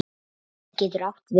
Vísir getur átt við